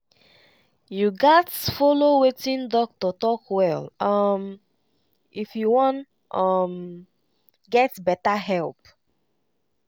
you gatz follow wetin doctor talk well um if you wan um get better help.